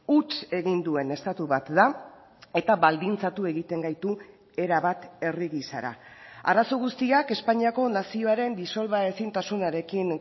huts egin duen estatu bat da eta baldintzatu egiten gaitu erabat herri gisara arazo guztiak espainiako nazioaren disolbaezintasunarekin